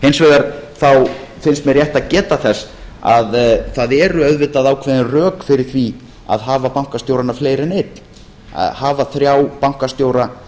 vegar finnst mér rétt að geta þess að það eru auðvitað ákveðin rök fyrir því að hafa bankastjórana fleiri en einn hafa þrjá bankastjóra